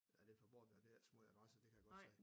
Ej det forbudt at være ved at sige adresse det kan jeg godt se